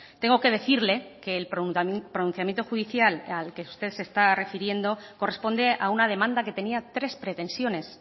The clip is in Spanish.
tengo que decirle que el pronunciamiento judicial al que usted se está refiriendo corresponde a una demanda que tenía tres pretensiones